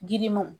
Girimanw